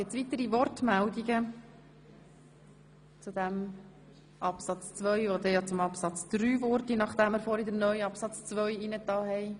Gibt es weitere Wortmeldungen zu Absatz 2, welcher zum Absatz 3 würde, nachdem wir vorhin den neuen Absatz 2 aufgenommen haben.